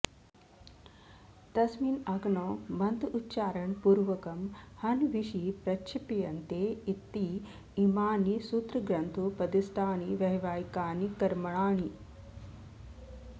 तस्मिन् अग्नौ मन्त्रोच्चारणपूर्वकं हवींषि प्रक्षिप्यन्ते इति इमानि सूत्रग्रन्थोपदिष्टानि वैवाहिकानि कर्माणी